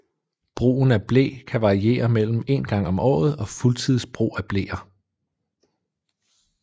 Brugen af ble kan variere mellem en gang om året og fuldtids brug af bleer